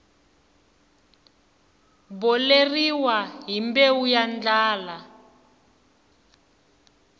boleriwa hi mbewu ya ndlala